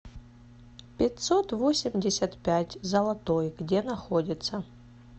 пятьсот восемьдесят пять золотой где находится